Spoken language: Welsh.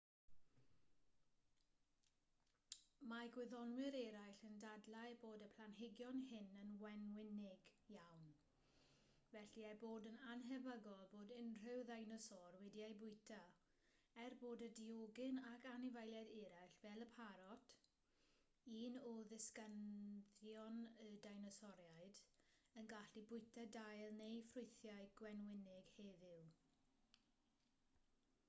mae gwyddonwyr eraill yn dadlau bod y planhigion hyn yn wenwynig iawn felly ei bod yn annhebygol bod unrhyw ddeinosor wedi eu bwyta er bod y diogyn ac anifeiliaid eraill fel y parot un o ddisgynyddion y deinosoriaid yn gallu bwyta dail neu ffrwythau gwenwynig heddiw